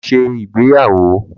Lo̩ s̩e ìgbéyàwó!